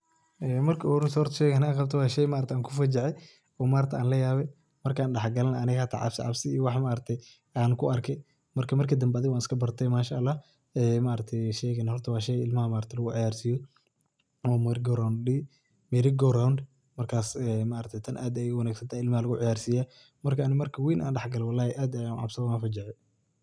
Marka ugu horeeyso, horta sheygan aan qabto waa shay aan kufajacay oo aan layaabay. Markaan dhex galay aniga hata cabsi cabsi wax aan ku arkay. Marka, markii dambe waaiskabartay MashaAllah. Sheygan horta waa shay ilmaha lagu ciyaarsiiyo oo Merry go round la dihi Merry go round markaas tan aad ayay u wanagsantahay ilmaha lagu ciyaarsiiya. Marka, aniga marka weyn aan dhexgalo wallahi aad ayaa u cabsoodey, waan fajacay.